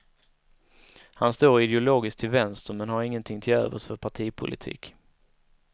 Han står ideologiskt till vänster men han ingenting till övers för partipolitik.